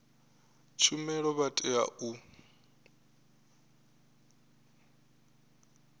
tshumelo vha a tea u